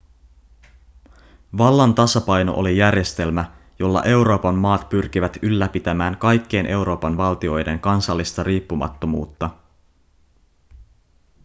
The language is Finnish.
vallan tasapaino oli järjestelmä jolla euroopan maat pyrkivät ylläpitämään kaikkien euroopan valtioiden kansallista riippumattomuutta